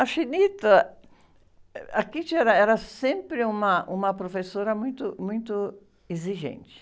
A... Eh, a era, era sempre uma, uma professora muito, muito exigente.